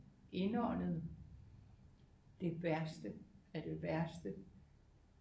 Indåndet det værste af det værste